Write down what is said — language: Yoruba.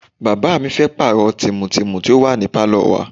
Bàbá mi fẹ́ pààrọ̀ tìmù tìmù tó wà ní Pálò wa.